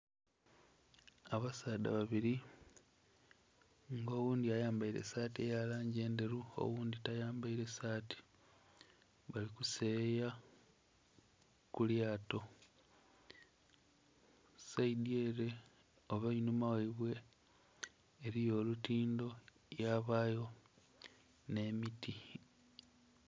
Abasaadha babiri nga oghundhi ayambaire esaati eyalangi endheru oghundhi tayamberaire saati bali kuseyeya kulyato, saidhi ere oba einhuma ghaibwe eriyo olutindho yabayo n'emiti.